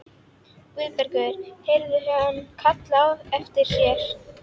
Guðbergur heyrði hann kallað á eftir sér.